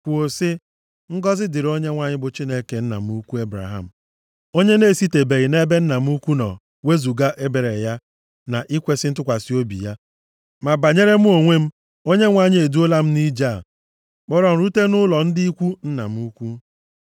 Kwuo sị, “Ngọzị dịrị Onyenwe anyị, bụ Chineke nna m ukwu Ebraham, onye na-esitebeghị nʼebe nna m ukwu nọ wezuga ebere ya na ikwesi ntụkwasị obi ya. Ma banyere mụ onwe m, Onyenwe anyị e duola m nʼije a, kpọrọ m rute nʼụlọ ndị ikwu nna m ukwu.”